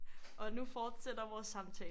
Og nu fortsætter vores samtale